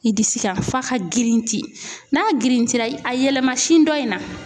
I disi kan f'a ka girinti n'a girintira a yɛlɛma sin dɔ in na.